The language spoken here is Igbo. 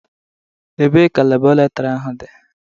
Ebee ka Labọretọri ahụ dị?